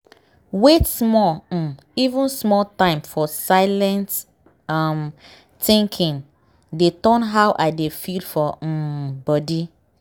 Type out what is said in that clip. wait small um even small time for silent um thinking dey turn how i dey feel for um body.